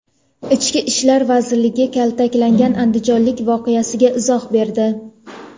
Ichki ishlar vazirligi kaltaklangan andijonlik voqeasiga izoh berdi.